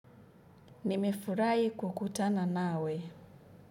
Nimefurahi kukutana nawe.